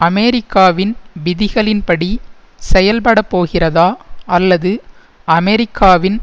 அமெரிக்காவின் விதிகளின்படி செயல்படப்போகிறதா அல்லது அமெரிக்காவின்